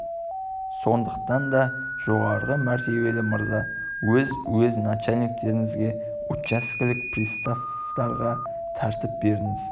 сондықтан да жоғары мәртебелі мырза өз уезд начальниктеріңізге учаскелік приставтарға тәртіп беріңіз